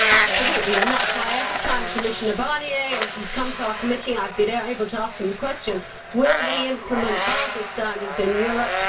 Absolutely, and that is why every time Commissioner Barnier has come to our committee and I have been able to ask him the question Will we implement Basel standards in Europe?'